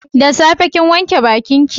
Da safe kin wanke bakin ki?